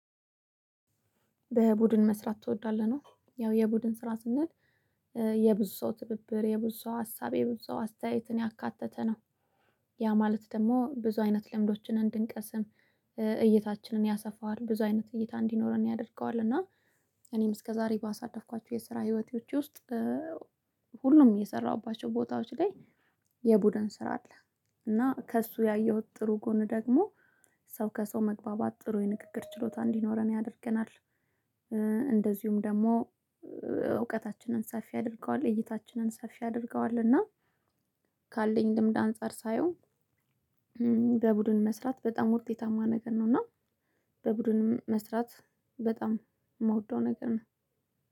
በቡድን መስራት ትወዳለህ? ነው ያው የቡድን ስራ ስንል የብዙ ሰው ትብብር የብዙ ሰው ሀሳብ የብዙ ሰው አስተያየትን ያካተተ ነው። ያ ማለት ደግሞ ብዙ አይነት ልምዶችን እንድንቀስም እይታችንን ያሰፋዋል ብዙ አይነት እይታ እንዲኖረን ያደርገዋል። እና እኔም እስከ ዛሬ ባሳለፍኳቸው የስራ ህይወቴዎች ውስጥ ሁሉም የሰራሁባቸው ቦታዎች ላይ የቡድን ስራ አለ። እና ከእሱ ያየሁት ጥሩ ጎን ደግሞ ሰው ከሰው መግባባት ጥሩ የንግግር ችሎታ እንዲኖረን ያደርገናል። እንደዚሁም ደግሞ እውቀታችንን ሰፊ ያደርገዋል እይታችንን ሰፊ ያደርገዋል። እና ካለኝ ልምድ አንፃር ሳየው በቡድን መስራት በጣም ውጤታማ ነገር ነው። እና በቡድን መስራት በጣም የምወደው ነገር ነው።